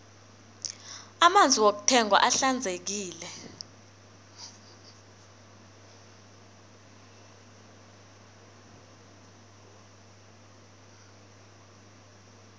amanzi wokuthengwa ahlanzekile